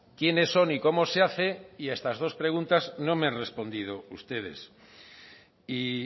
quiénes son y cómo se hace y a estas dos preguntas no me han respondido ustedes y